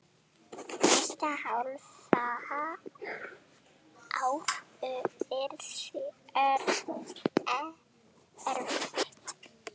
Næsta hálfa ár yrði erfitt.